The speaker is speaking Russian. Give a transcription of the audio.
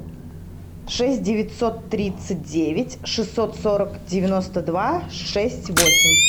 шесть девятьсот тридцать девять шестьсот сорок девяносто два шесть восемь